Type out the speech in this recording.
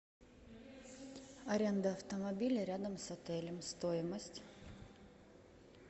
аренда автомобиля рядом с отелем стоимость